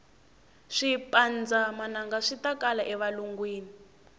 swipanndza manangaswitakala e valungwini